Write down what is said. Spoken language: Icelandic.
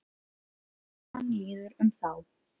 Og hann líður um þá.